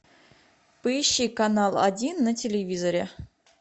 поищи канал один на телевизоре